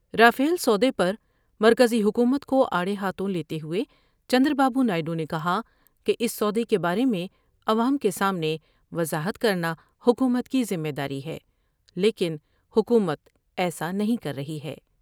Rafale سودے پر مرکزی حکومت کو آڑے ہاتھوں لیتے ہوۓ چندرا بابو نائیڈو نے کہا کہ اس سودے کے بارے میں عوام کے سامنے وضاحت کر نا حکومت کی ذمے داری ہے لیکن حکومت ایسا نہیں کر رہی ہے ۔